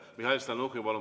Mihhail Stalnuhhin, palun!